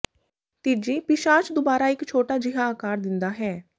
ਤੀਜੀ ਪਿਸ਼ਾਚ ਦੁਬਾਰਾ ਇਕ ਛੋਟਾ ਜਿਹਾ ਆਕਾਰ ਦਿੰਦਾ ਹੈ